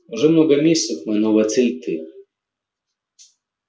уже много месяцев моя новая цель ты